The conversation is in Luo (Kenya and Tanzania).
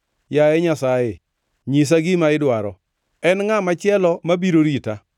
“Yaye Nyasaye, nyisa gima idwaro. En ngʼa machielo mabiro rita?